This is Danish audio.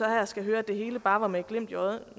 her skal høre at det hele bare var med et glimt i øjet